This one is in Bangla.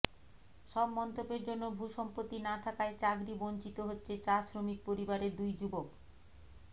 সব মন্তব্যের জন্য ভূসম্পত্তি না থাকায় চাকরি বঞ্চিত হচ্ছে চা শ্রমিক পরিবারের দুই যুবক